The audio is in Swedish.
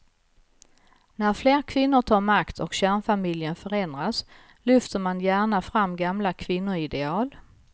När fler kvinnor tar makt och kärnfamiljen förändras lyfter man gärna fram gamla kvinnoideal.